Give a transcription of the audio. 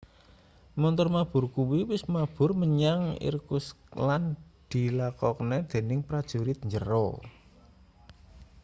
montor mabur kuwi wis mabur menyang irkutsk lan dilakokne dening prajurit njero